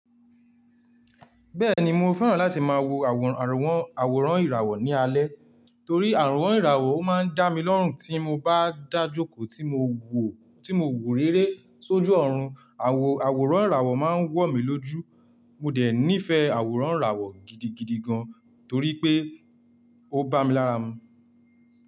Bẹ́ẹ̀ni mo fẹ́ràn láti máa wo àwòrán, àwòrán ìràwọ̀ ní alẹ́ torí àròwán ìràwọ̀ ó máa ń dá mi lọ́rùn tí mo bá dàjókòó tí mo wò, tí mo wò réré sójú ọ̀run. Àwò, àwòrán ìràwọ̀ máa ń wọ̀ mí lójú. Mo dẹ̀ nífẹ̀ẹ́ àwòrán ìràwọ̀ gidigidi gan torí pé ó bá mi lára mu.